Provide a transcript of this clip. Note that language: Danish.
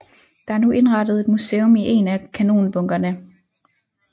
Der er nu indrettet et museum i én af kanonbunkerne